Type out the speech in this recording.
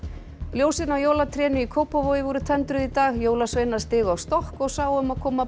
ljósin á jólatrénu í Kópavogi voru tendruð í dag jólasveinar stigu á stokk og sáu um að koma